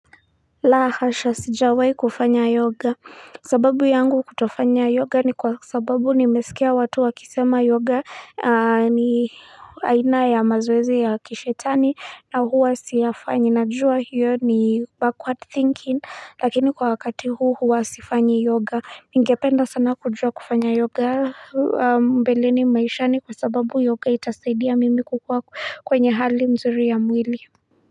La hasha sijawai kufanya yoga sababu yangu kutofanya yoga ni kwa sababu nimesikia watu wakisema yoga ni aina ya mazoezi ya kishetani na huwa siyafanyi najua hiyo ni backward thinking lakini kwa wakati huu huwa sifanyi yoga ningependa sana kujua kufanya yoga mbeleni maishani kwa sababu yoga itasaidia mimi kukua kwenye hali mzuri ya mwili.